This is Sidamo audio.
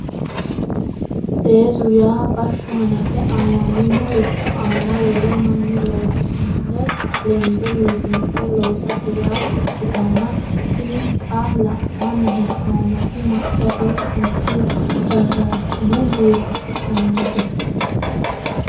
Seesu yaa bashsho hanafe aamaminorichi aana wole mannu loosinore lende biifinse loossate yaa ikkittanna tini xa la'nanni hee'noommoti maccate qanse rarasine biifisinannite